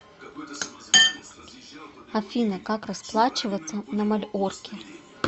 афина как расплачиваться на мальорке